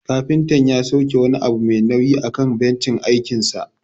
Kafinta ya sauke wani abu mai nauyi akan bencin aikinsa.